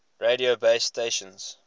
radio base stations